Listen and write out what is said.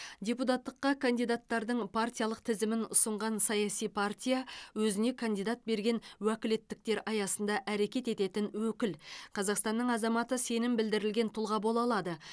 депутаттыққа кандидаттардың партиялық тізімін ұсынған саяси партия өзіне кандидат берген өкілеттіктер аясында әрекет ететін өкіл қазақстанның азаматы сенім білдірілген тұлға бола алады